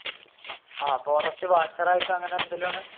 ആഹ് forest watcher ആയിട്ട് അങ്ങനെ എന്തെങ്കിലുമാണ്?